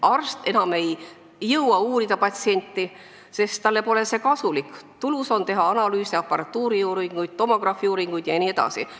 Arst ei jõua enam patsienti uurida, sest talle pole see kasulik, tulus on teha analüüse, aparaadiuuringuid, tomograafiuuringuid jne.